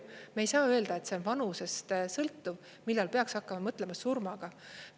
Me ei saa öelda, et see on vanusest sõltuv, millal peaks hakkama mõtlema surmaga.